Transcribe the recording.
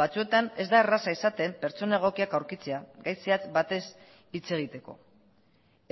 batzuetan ez da erraza izaten pertsona egokiak aurkitzea gai zehatz batez hitz egiteko